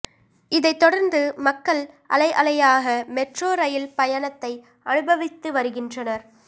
இதைத் தொடர்ந்து மக்கள் அலை அலையாக மெட்ரோ ரயில் பயணத்தை அனுபவித்து வருகின்றனர்